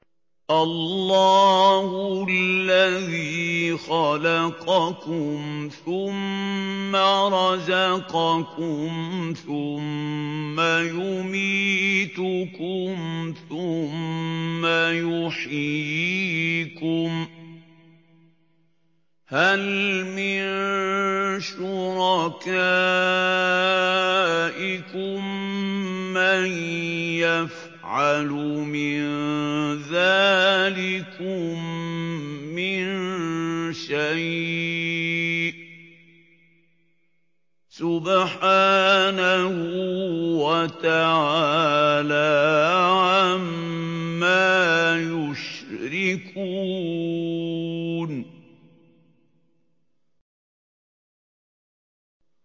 اللَّهُ الَّذِي خَلَقَكُمْ ثُمَّ رَزَقَكُمْ ثُمَّ يُمِيتُكُمْ ثُمَّ يُحْيِيكُمْ ۖ هَلْ مِن شُرَكَائِكُم مَّن يَفْعَلُ مِن ذَٰلِكُم مِّن شَيْءٍ ۚ سُبْحَانَهُ وَتَعَالَىٰ عَمَّا يُشْرِكُونَ